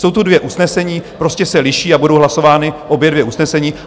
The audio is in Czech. Jsou tu dvě usnesení, prostě se liší a budou hlasována obě dvě usnesení.